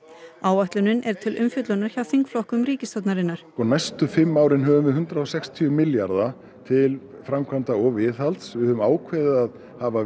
áætlunin er til umfjöllunar hjá þingflokkur ríkisstjórnarinnar næstu fimm árin höfum við hundrað og sextíu milljarðar til framkvæmda og viðhalds við höfum ákveðið að hafa